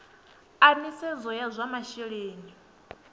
a nisedzo ya zwa masheleni